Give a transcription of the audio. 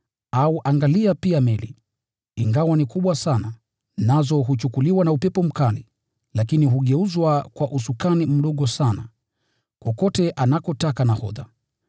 Au angalia pia meli, ingawa ni kubwa sana, nazo huchukuliwa na upepo mkali, lakini hugeuzwa kwa usukani mdogo sana, kokote anakotaka nahodha.